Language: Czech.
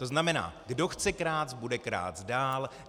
To znamená, kdo chce krást, bude krást dál.